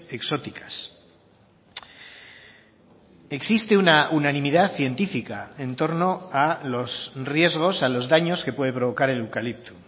exóticas existe una unanimidad científica en torno a los riesgos a los daños que puede provocar el eucalipto